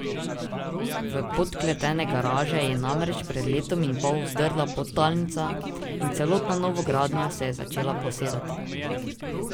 V podkletene garaže je namreč pred letom in pol vdrla podtalnica in celotna novogradnja se je začela posedati.